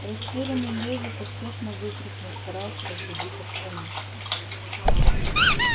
растерянный леви поспешно выкрикнул стараясь разрядить обстановку